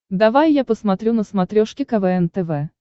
давай я посмотрю на смотрешке квн тв